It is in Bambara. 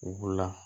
U b'u la